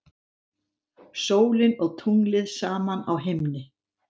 Sólin og tunglið saman á himni.